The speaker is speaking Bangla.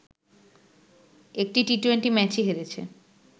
একটি টি-টোয়েন্টি ম্যাচই হেরেছে